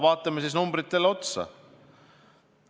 Vaatame siis numbritele otsa.